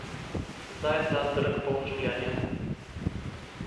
Zdaj je ta trg poln življenja.